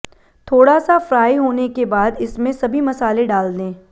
थोड़ा सा फ्राई होने के बाद इसमें सभी मसाले डाल लें